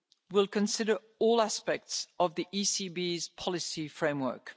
review will consider all aspects of the ECB's policy framework.